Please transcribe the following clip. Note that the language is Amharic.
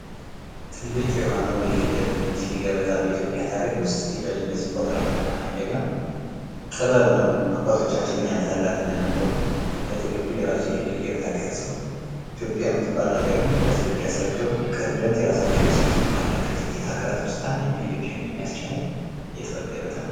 ትልቅ የሆነ የፊደል ገበታ እንግዲህ በኢትዮጵያ ታሪክ ውስጥ ቆጥረን ነው ያደግነው ማለት ነው ።ጥበብ ነው። አባቶቻችን ምን ያህል ትልቅ እንደነበሩ በፊደል ገበታ ተቀርፀው ኢትዮጵያ ምትባል ሀገርን ያስረከቡ ቀደምት የራሳቸዉ ስነ ፅሁፍ ካላቸው ሀገራት ውስጥ አንዷ የሆነችው ኢትዮጵያ ነች።